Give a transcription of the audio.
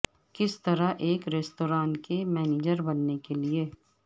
کس طرح ایک ریستوران کے مینیجر بننے کے لئے